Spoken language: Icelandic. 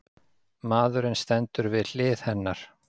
Maðurinn stendur við hlið hennar.